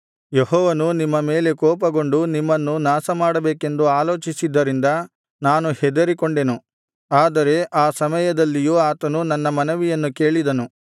ಯೆಹೋವನು ನಿಮ್ಮ ಮೇಲೆ ಬಹುಕೋಪಗೊಂಡು ನಿಮ್ಮನ್ನು ನಾಶಮಾಡಬೇಕೆಂದು ಆಲೋಚಿಸಿದ್ದರಿಂದ ನಾನು ಹೆದರಿಕೊಂಡೆನು ಆದರೆ ಆ ಸಮಯದಲ್ಲಿಯೂ ಆತನು ನನ್ನ ಮನವಿಯನ್ನು ಕೇಳಿದನು